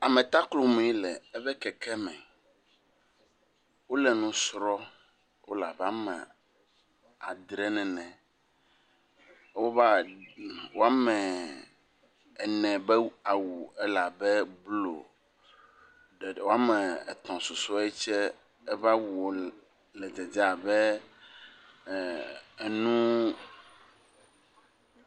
Ametaklomi le eƒe keke me wole nu srɔ̃wole abe ame adre nene, woba wɔme ene be awu ele abe blu eye wɔametɔ̃susuɛ tse eƒe awu le dzedze abe ɛɛɛ enu.